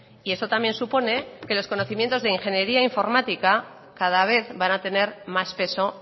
y eso también supone que los conocimientos de ingeniería informática cada vez van a tener más peso